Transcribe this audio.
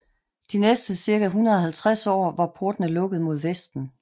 De næste cirka 150 år var portene lukket mod Vesten